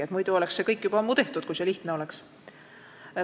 See kõik oleks juba ammu tehtud, kui see lihtne oleks.